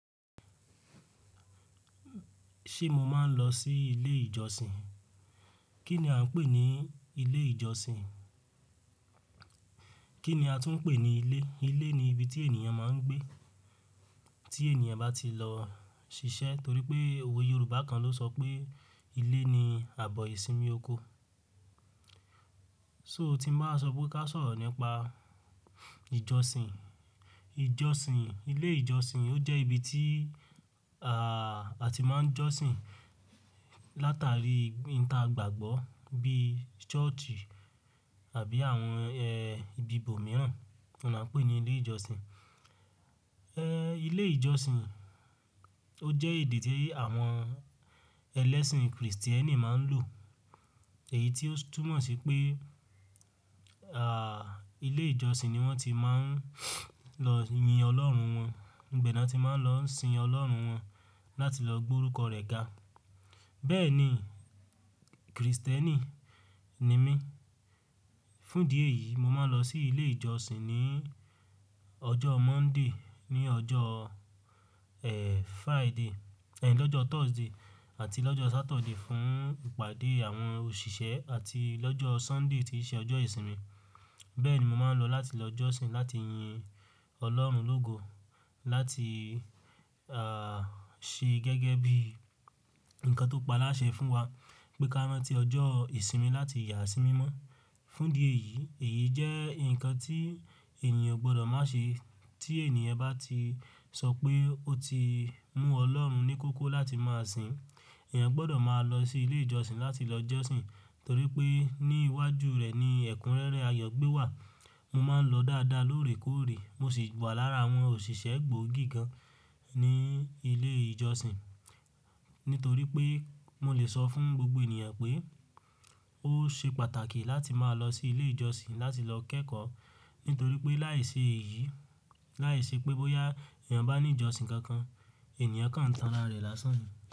Ṣé mo máa ń lọ sí ilé ìjọsìn? Kí ni a ń pè ní ilé ìjọsìn? Kí ni a tún ń pè ní ilé? Ilé ni ibi tí ènìyàn máa ń gbé. Tí ènìyàn bá ti lọ ṣiṣẹ́ torí pé òwe Yorùbá kan ló sọ pé ilé ni àbọ̀ ìsinmi oko. So ti mo bá sọ pé ká sọ̀rọ̀ nípa ìjọsìn, ìjọsìn, ilé ìjọsìn ó jẹ́ ibi tí, à, a ti máa ń jọsìn látàrí ìta gbàgbọ́ bí i ṣọ́ọ̀ṣì àbí àwọn, ẹ, ibi ibòmíràn tó là ń pè ní ilé ìjọsìn., ilé ìjọsìn ó jẹ́ èdè tí àwọn ẹlẹ́sìn Kristẹ́nì máa ń lò. Èyí tí ó túmọ̀ sí pé, ilé ìjọsìn ni wọ́n ti máa ń lọ yin Ọlọ́run wọn, ibẹ̀ ni wọn tí máa ń lọ sin Ọlọ́run wọn láti lọ gbọ́ orúkọ rẹ̀ ga. Bẹ́ẹ̀ ni, Kristẹ́nì ni mí. Fún díẹ̀ yìí mo máa ń lọ sí ilé ìjọsìn ní ọjọ́ Monday, ní ọjọ́, Friday, lọ́jọ́ Thursday àti lọ́jọ́ Saturday fún ìpàdé àwọn òṣìṣẹ́ àti lọ́jọ́ Sunday tí í ṣe ọjọ́ ìsinmi. Bẹ́ẹ̀ ni mo máa ń lọ láti lọ jọ́sìn láti yin Ọlọ́run Ológo láti, ṣe gẹ́gẹ́ bí nǹkan tó paláṣẹ fún wa pé ká má tí ọjọ́ ìsinmi láti yà á sí mímọ́. Fún ìdí èyí, èyí jẹ́ nǹkan tí ènìyàn ò gbọdọ̀ má ṣe. Tí ènìyàn bá ti sọ pé ó ti mú Ọlọ́run ní kókó láti máa sìn, èèyàn gbọdọ̀ máa lọ sí ilé ìjọsìn láti lọ jọ́sìn torí pé ní iwájú rẹ̀ ni ẹ̀kúnrẹ́rẹ́ ayọ̀gbé wà. Mo máa ń lọ dáadáa lóòrèkóòrè mo sì wà lára àwọn òṣìṣẹ́ gbòógì gan ní ilé ìjọsìn. Nítorí pé mo lè sọ fún gbogbo ènìyàn pé ó ṣe pàtàkì láti máa lọ sí ilé ìjọsìn láti lọ kẹ́kọ̀ọ́. Nítorí pé láìsí èyí, láìsí pé bóyá èèyàn bá ní ìjọsìn kankan, ènìyàn kàn tan ara rẹ̀ lásán ní.